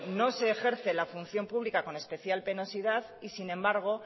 no se ejerce la función pública con especial penosidad y sin embargo